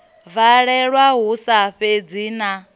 valelwa hu sa sedzi na